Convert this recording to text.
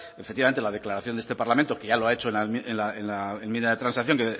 efectivamente la declaración de este parlamento que ya lo ha hecho en la enmienda de transacción